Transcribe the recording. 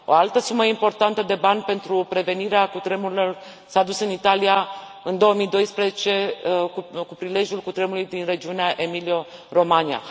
O altă sumă importantă de bani pentru prevenirea cutremurelor s a dus în Italia, în 2012, cu prilejul cutremului din regiunea Emilia Romagna.